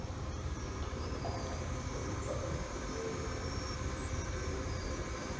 luqingqo olubhalisiweyo lweziphumo